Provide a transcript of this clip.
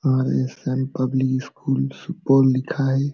और ये Sam public school Supaul लिखा है।